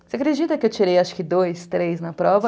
Você acredita que eu tirei, acho que, dois, três na prova?